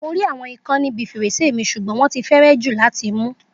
Mo rí àwọn ikán níbi fèrèsé mi sugbon wọ́n ti kéré jù láti mú.